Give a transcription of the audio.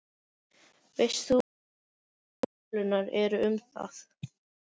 Veist þú hverjar síðustu tölur eru um það?